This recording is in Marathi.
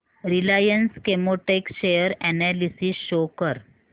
Reliance Chemotex share analysis show कर